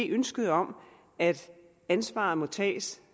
ønsket om at ansvaret må tages